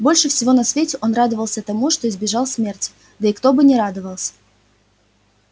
больше всего на свете он радовался тому что избежал смерти да и кто бы не радовался